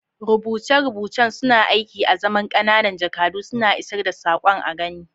Rubuce-rubucen suna aiki azaman ƙananan jakadu, suna isar da saƙon a gani.